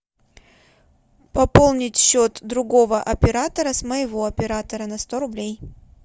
пополнить счет другого оператора с моего оператора на сто рублей